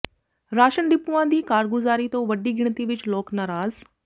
ration ਡਿਪੂਆਂ ਦੀ ਕਾਰਗੁਜ਼ਾਰੀ ਤੋਂ ਵੱਡੀ ਗਿਣਤੀ ਵਿਚ ਲੋਕ ਨਾਰਾਜ਼